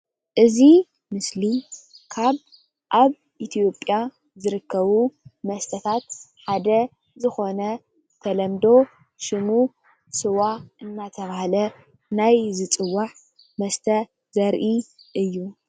እዚይ ምስሊ ካብ ኣብ ኢትዮጵያ ዝርከቡ መስተታት ሓደ ዝኾነ ብተለምዶ ሽሙ ስዋ እናተባህለ ናይ ዝፅዋዕ መስተ ዘሪኢ እዩ።